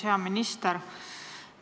Hea minister!